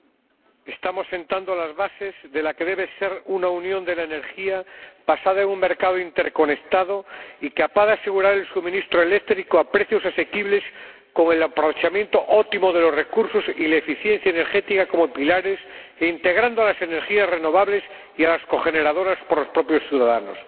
Señor Presidente, estamos sentando las bases de la que debe ser una Unión de la Energía basada en un mercado interconectado y capaz de asegurar el suministro eléctrico a precios asequibles, con el aprovechamiento óptimo de los recursos y la eficiencia energética como pilares, e integrando a las energías renovables y a las cogeneradoras por los propios ciudadanos.